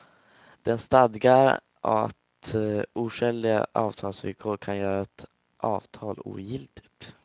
Den stadgar att oskäliga avtalsvillkor kan göra ett avtal ogiltigt.